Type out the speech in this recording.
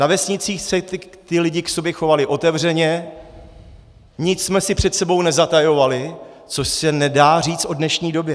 Na vesnicích se ti lidé k sobě chovali otevřeně, nic jsme si před sebou nezatajovali, což se nedá říct o dnešní době.